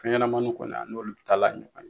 Fɛn ɲɛnɛmaninw kɔni, a n'olu taalan ye ɲɔgɔn ɲe.